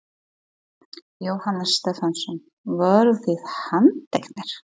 Jóhannes Stefánsson: Voruð þið handteknir?